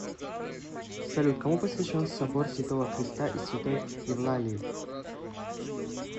салют кому посвящен собор святого креста и святой евлалии